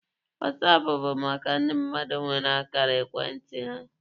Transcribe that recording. Wasaapụ bụ maka ndị mmadụ nwere akara ekwentị ha.